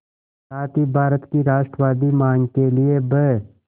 साथ ही भारत की राष्ट्रवादी मांग के लिए ब्